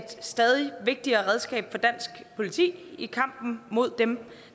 er stadig vigtigere redskaber for dansk politi i kampen mod dem